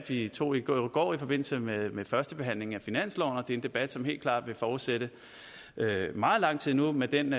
vi tog i går går i forbindelse med førstebehandlingen af finansloven og det er en debat som helt klart vil fortsætte meget lang tid endnu med den